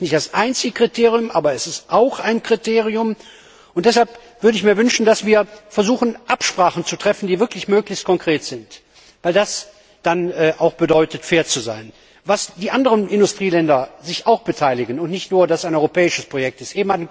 Das ist nicht das einzige Kriterium, aber es ist auch ein Kriterium, und deshalb würde ich mir wünschen, dass wir versuchen, Absprachen zu treffen, die wirklich möglichst konkret sind. Das bedeutet dann auch, fair zu sein und dass die anderen Industrieländer sich beteiligen, damit es nicht nur ein europäisches Projekt